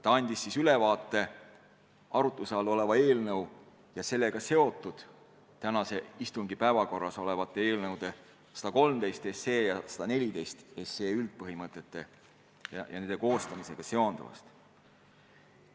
Ta andis ülevaate arutluse all olevast eelnõust ja sellega seotud tänase istungi päevakorras olevate eelnõude 113 ja 114 üldpõhimõtetest ja nende koostamisega seonduvast.